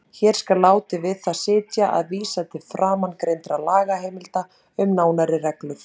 Hér skal látið við það sitja að vísa til framangreindra lagaheimilda um nánari reglur.